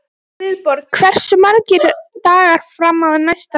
Guðborg, hversu margir dagar fram að næsta fríi?